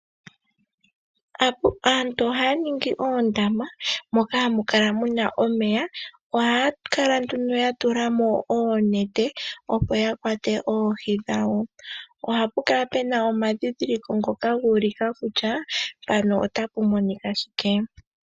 Aantu ohaya ningi oondama moka hamu kala nduno muna omeya, ohaya kala nduno yatula mo oonete opo yakwate oohi dhawo, ohapu kala puna omadhidhiliko ngoka guulika kutya mpaka otapu monika shike.